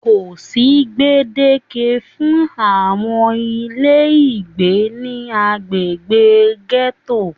Kò sí gbedeke fún àwọn ilé ìgbé ní agbègbè gẹto.